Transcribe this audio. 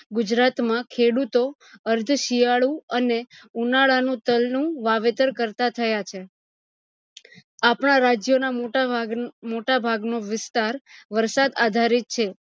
ગુજરાત માં ખેડૂતો અર્થ શિયાળુ અને ઉનાળા નું તાલ નું વાવેતર કરતા થયા છે આપણા રાજ્યો ના મોટા ભાગ મોટા ભાગ નું વિસ્તાર વરસાદ આધારિત છે